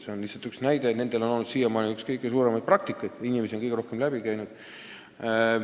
See oli lihtsalt üks näide: nad on siiamaani olnud need, kellel on väga palju praktikat, neilt on kõige rohkem inimesi läbi käinud.